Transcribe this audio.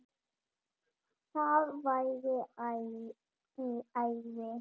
Það væri æði